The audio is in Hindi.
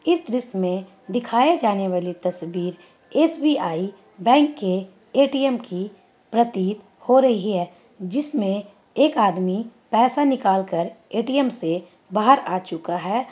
इस दृश्य में दिखाई जाने वाली तस्वीर एस_बी_आइ बैंक के ए_टी_म की प्रतीत हो रही है। जिसमें एक आदमी पैसा निकाल कर ए_टी_ म से बाहर आ चुका है।